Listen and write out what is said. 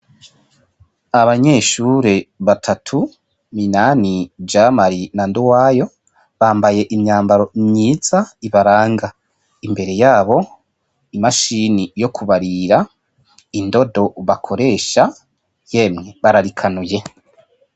Abanyeshure batatu Minani, Jamari na Nduwayo bambaye imyambaro myiza ibaranga .Imbere yabo imashine yo kubarira, indodo bakoresha, yemwe bararikanuye.